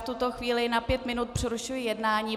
V tuto chvíli na pět minut přerušuji jednání.